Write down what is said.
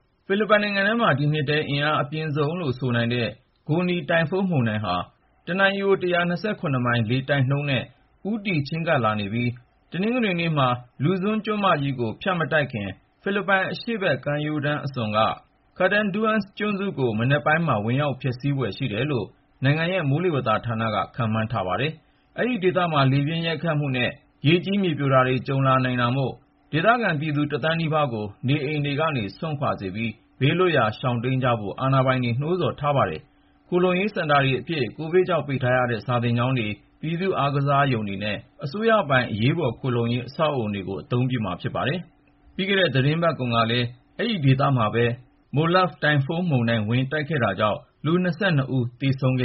ဖိလစ်ပိုင်နိုင်ငံမှာ ဒီနှစ်ထဲ အင်အားအပြင်းဆုံးလို့ ဆိုနိုင်တဲ့ Goni တိုင်ဖုန်းမုန်တိုင်းဟာ တနာရီကို ၁၂၇ မိုင် လေတိုက်နှုန်းနဲ့ ဦးတည် ချဉ်းကပ်လာနေပြီး တနင်္ဂနွေနေ့မှာ Luzon ကျွန်းမကြီးကို ဖြတ်မတိုက်ခင် ဖိလစ်ပိုင် အရှေ့ဘက်ကမ်းရိုးတန်း အစွန်က Catanduanes ကျွန်းကို မနက်ပိုင်းမှာ ဝင်ရောက်ဖျက်ဆီးဖွယ် ရှိတယ်လို့ နိုင်ငံရဲ့ မိုးလေဝသဌာနက ခန့်မှန်းထားပါတယ်။ အဲဒီဒေသမှာ လေပြင်းရိုက်ခတ်မှုနဲ့ ရေကြီး မြေပြိုတာတွေ ကြုံလာနိုင်တာမို့ ဒေသခံ ဖိလစ်ပိုင်ပြည်သူ ၁ သန်းနီးပါးကို နေအိမ်တွေကနေ စွန့်ခွာစေပြီး ဘေးလွတ်ရာ ရှောင်တိမ်းကြဖို့ အာဏာပိုင်တွေ နှိုးဆော်ထားပါတယ်။ ခိုလှုံရေးစင်တာတွေအဖြစ် ကိုဗစ်ကြောင့် ပိတ်ထားရတဲ့ စာသင်ကျောင်းတွေ၊ ပြည်သူ့အားကစားရုံတွေနဲ့ အစိုးရပိုင် အရေးပေါ်ခိုလှုံရေး အဆောက်အဦတွေကို အသုံးပြုမှာ ဖြစ်ပါတယ်။ ပြီးခဲ့တဲ့ သီတင်းပတ်တုန်းကလည်း ဒီဒေသမှာပဲ Molave တိုင်ဖုန်းမုန်တိုင်း ဝင်တိုက်ခဲ့တာကြောင့် လူ ၂၂ ဦး သေဆုံးခ